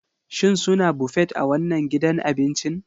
Shin suna Buffet a wannan gidan abincin?